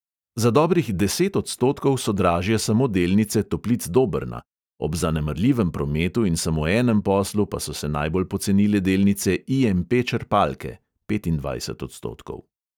Za dobrih deset odstotkov so dražje samo delnice toplic dobrna, ob zanemarljivem prometu in samo enem poslu pa so se najbolj pocenile delnice IMP črpalke (petindvajset odstotkov).